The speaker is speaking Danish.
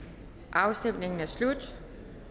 afstemningen er slut